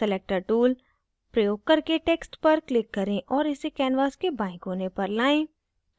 selector tool प्रयोग करके text पर click करें और इसे canvas के बाएं कोने पर लाएं